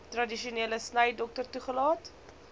tradisionele snydokter toegelaat